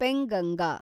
Penganga